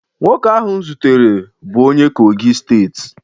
Nwoke ahụ m zutere bụ onye kogi steeti